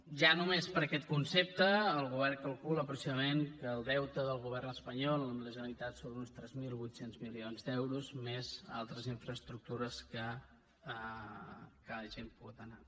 ja només per aquest concepte el govern calcula aproximadament que el deute del govern espanyol amb la generalitat són uns tres mil vuit cents milions d’euros més altres infraestructures que hagin pogut anar